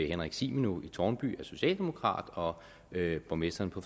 henrik zimino i tårnby er socialdemokrat og at borgmesteren på